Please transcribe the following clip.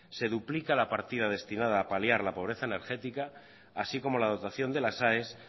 se duplica la partida destinada a paliar la pobreza energética así como la dotación de las aes